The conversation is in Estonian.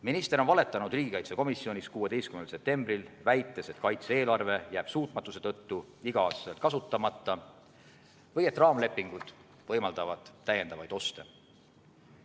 Minister valetas riigikaitsekomisjonis 16. septembril, väites, et kaitse-eelarve jääb suutmatuse tõttu igal aastal kasutamata ja et raamlepingud võimaldavad täiendavaid oste.